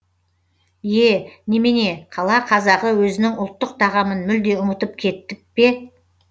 е немене қала қазағы өзінің ұлттық тағамын мүлде ұмытып кетіп пе